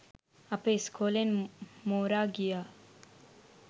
අපේ ඉස්කෝලෙන් මෝරා ගිය